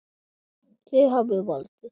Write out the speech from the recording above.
Þið hafið valdið.